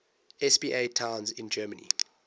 spa towns in germany